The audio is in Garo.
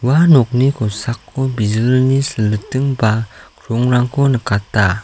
ua nokni kosako bijilni siliting ba krongrangko nikata.